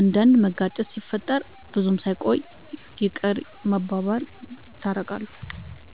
አንዳንድ መጋጨት ሲፈጠር ብዙም ሳይቆዩ ይቅርታ ተባብለው የታረቃሉ።